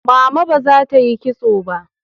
Mama ba za ta yi kitso ba.